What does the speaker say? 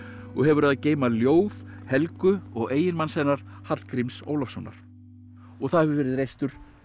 og hefur að geyma ljóð Helgu og eiginmanns hennar Hallgríms Ólafssonar og það hefur verið reistur